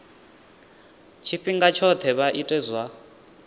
tshifhinga tshoṱhe vha ite zwa